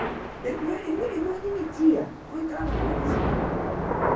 Ele ele ele não admitia, não entrava na cabeça dele.